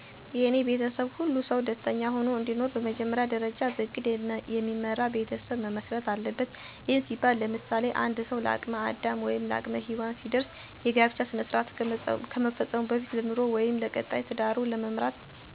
የኔ ቤተሰብ ሁሉም ሰው ደስተኛ ሆኖ እንዲኖር በመጀመሪያ ደርጃ በእቅድ የሚመራ ቤተሰብ መመስረት አለበት። ይህም ሲባል ለምሳሌ፦ አንድ ሰው ለአቅም አዳም ወይም ለአቅመ ሄዎን ሲደርስ የጋብቻ ስነስራአት ከመፈፀሙ በፊት ለኑሮው ወይም ለቀጣይ ትዳሩን ለመምራት በበቂ ሁኔታ የሚወለዱትንም ልጆች ጨምሮ ፍላጎታቸውን አሞልቶ ለማሳደግ ለማስተማር በቂ የሆነ ገንዘብ ወይም ቋሚስራ መኖሩን መረዳት መቻል አለብን እነዚህን ቅድመ ሁኔታወች ቀድመን ካሰብን ወይም ቀድመን ካሟላን በቤት ውስጥ ሁሉም ሰው ደስኛ ሁኖ እንዲኖር ማድረግ ይቻላል።